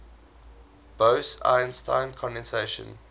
bose einstein condensation